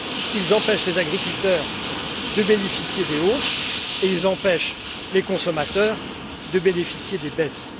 Ils empêchent les agriculteurs de bénéficier des hausses et ils empêchent les consommateurs de bénéficier des baisses.